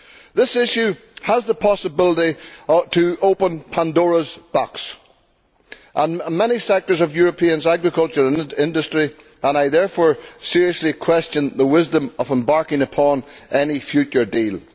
This issue has the possibility to open Pandora's box in many sectors of Europe's agriculture industry, and I therefore seriously question the wisdom of embarking upon any future deal.